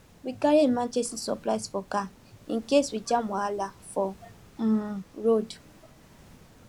we carry emergency supplies for car in case we jam wahala for um road